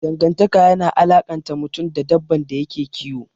Dangantaka yana alakanta mutum da dabban da yake kiyo.